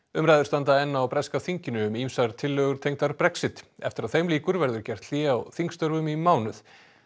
umræður standa enn á breska þinginu um ýmsar tillögur tengdar Brexit eftir að þeim lýkur verður gert hlé á þingstörfum í mánuð